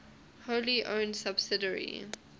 wholly owned subsidiary